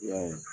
I y'a ye